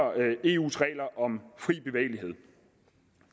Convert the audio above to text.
eus regler om fri bevægelighed